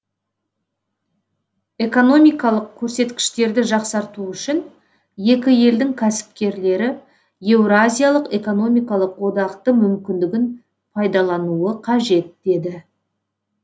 экономкалық көрсеткіштерді жақсарту үшін екі елдің кәсіпкерлері еуразиялық экономикалық одақтың мүмкіндігін пайдалануы қажет деді